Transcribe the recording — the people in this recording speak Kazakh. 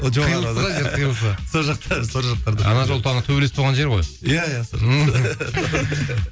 қиылысы сол жақта сол жақтарда ана жолы тағы төбелес болған жер ғой иә иә